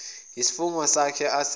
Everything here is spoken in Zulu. yisifungo sakhe asenze